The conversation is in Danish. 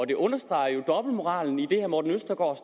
det understreger jo dobbeltmoralen i det herre morten østergaard